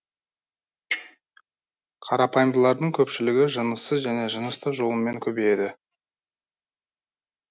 қарапайымдылардың көпшілігі жыныссыз және жынысты жолымен көбейеді